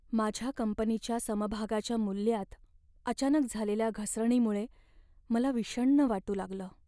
माझ्या कंपनीच्या समभागाच्या मूल्यात अचानक झालेल्या घसरणीमुळे मला विषण्ण वाटू लागलं.